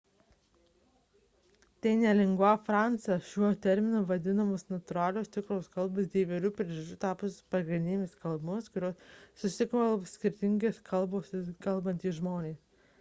tai ne lingua franca – šiuo terminu vadinamos natūralios tikros kalbos dėl įvairių priežasčių tapusios pagrindinėmis kalbomis kuriomis susikalba skirtingomis kalbomis kalbantys žmonės